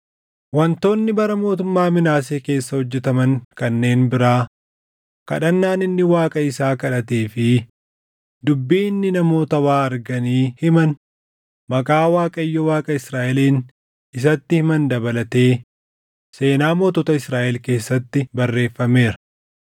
Wantoonni bara mootummaa Minaasee keessa hojjetaman kanneen biraa, kadhannaan inni Waaqa isaa kadhatee fi dubbii inni namoota waa arganii himan maqaa Waaqayyo Waaqa Israaʼeliin isatti himan dabalatee seenaa mootota Israaʼel keessatti barreeffameera.